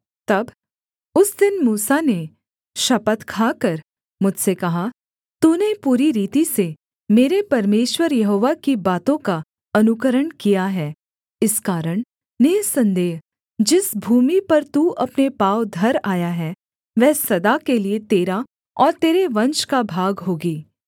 तब उस दिन मूसा ने शपथ खाकर मुझसे कहा तूने पूरी रीति से मेरे परमेश्वर यहोवा की बातों का अनुकरण किया है इस कारण निःसन्देह जिस भूमि पर तू अपने पाँव धर आया है वह सदा के लिये तेरा और तेरे वंश का भाग होगी